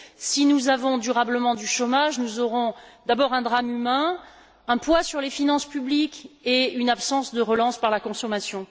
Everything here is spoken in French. Si nous avons durablement du chômage, nous aurons, d'abord, un drame humain, et aussi un poids sur les finances publiques et une absence de relance par la consommation.